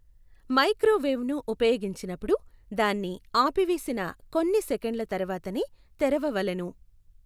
మైక్రోవేవ్ను ఉపయోగించినపుడు దాన్ని ఆపివేసిన కొన్ని సెకండ్ల తర్వాతనే తెరవవలెను.